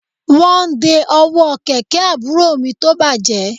Wọ́n ń de ọwọ́ kẹ̀kẹ́ àbúrò mi tó bàjẹ́